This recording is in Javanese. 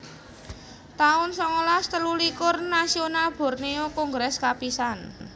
taun songolas telulikur Nasional Borneo Kongres kapisan